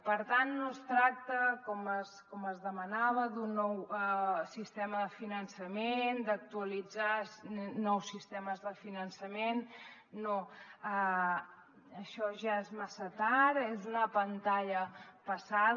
per tant no es tracta com es demanava d’un nou sistema de finançament d’actualitzar nous sistemes de finançament no això ja és massa tard és una pantalla passada